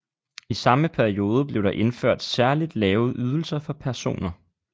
I samme periode blev der indført særligt lave ydelser for personer